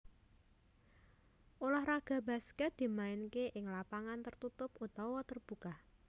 Ulah raga baskèt dimainké ing lapangan tertutup utawa terbuka